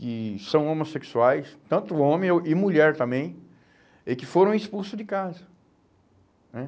que são homossexuais, tanto homem ou e mulher também, e que foram expulso de casa, né?